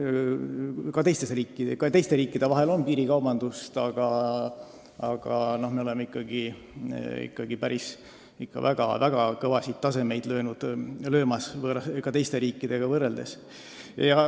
Ka teistes riikides on piirikaubandust, aga me oleme teistega võrreldes selles ikkagi väga kõva taseme saavutanud.